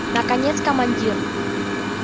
наконец командир